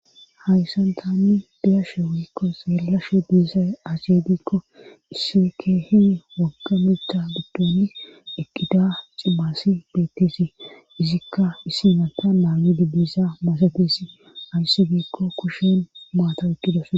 hayssan tanni deyashe wuyikko seellashe diisaashediikko isi keehi waggamectctha giddooni eqqida cibaasi beettesi izikka isimatta naami didisa masatesi ayissi giikko kushen maata eqqidose